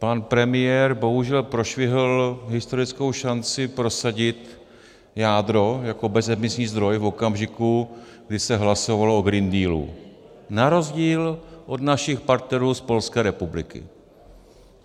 Pan premiér bohužel prošvihl historickou šanci prosadit jádro jako bezemisní zdroj v okamžiku, kdy se hlasovalo o Green Dealu, na rozdíl od našich partnerů z Polské republiky.